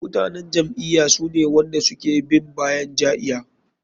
Mutanen jam'iya sune wanda suke bin bayan ja'iya.